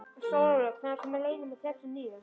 Stórólfur, hvenær kemur leið númer þrjátíu og níu?